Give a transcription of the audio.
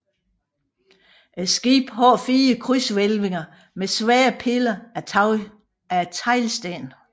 Skibet har 4 krydshvælvinger med svære piller af teglsten